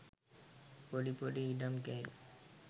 පොඩි පොඩි ඉඩම් කෑලි.